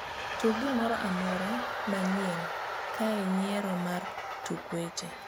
tug gimoro amora ma nyien kaae yiero mara mar tuk weche